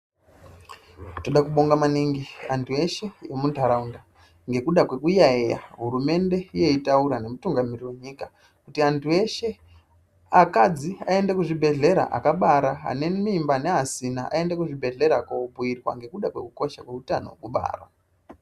Toda kubonga maningi anthu eshe emuntharaunda ngekuda kwekuyaiya hurumende yeitaura nemutungamiriri wenyika kuti anthu eshe akadzi aende kuzvibhedhlera akabara ane mimba neasina aende kuzvibhedhlera kobhiirwa ngekuda kwekukosha kweutano hwekubara .